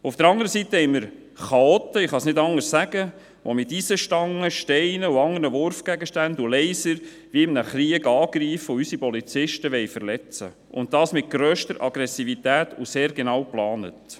– Auf der anderen Seite haben wir Chaoten – ich kann es nicht anders sagen –, welche mit Eisenstangen, Steinen und anderen Wurfgegenständen und Lasern wie in einem Krieg angreifen und unsere Polizisten verletzen wollen – und dies mit grösster Aggressivität und sehr genau geplant.